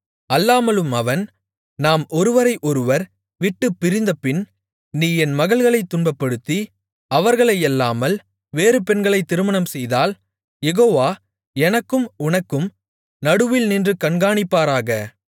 அல்லாமலும் அவன் நாம் ஒருவரை ஒருவர் விட்டுப்பிரிந்தபின் நீ என் மகள்களைத் துன்பப்படுத்தி அவர்களையல்லாமல் வேறு பெண்களைத் திருமணம்செய்தால் யெகோவா எனக்கும் உனக்கும் நடுவில் நின்று கண்காணிப்பாராக